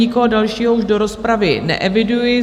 Nikoho dalšího už do rozpravy neeviduji.